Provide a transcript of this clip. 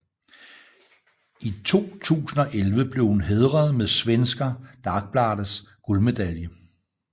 I 2011 blev hun hædret med Svenska Dagbladets guldmedalje